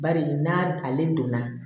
Bari n'a ale donna